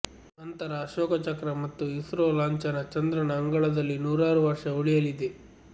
ನಂತರ ಅಶೋಕ ಚಕ್ರ ಮತ್ತು ಇಸ್ರೋ ಲಾಂಛನ ಚಂದ್ರನ ಅಂಗಳದಲ್ಲಿ ನೂರಾರು ವರ್ಷ ಉಳಿಯಲಿದೆ